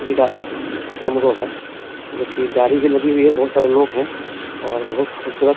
विदाई है समारोह है जो भी गाड़ी भी लगी हुई है बहुत सारे लोग है और बहुत खूबसूरत --